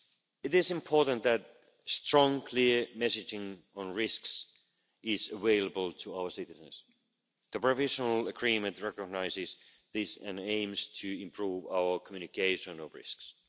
It is important that strong, clear messaging on risks is available to our citizens. The provisional agreement recognises this and aims to improve our communication on risks.